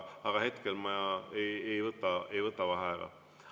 Aga hetkel ma ei võta vaheaega.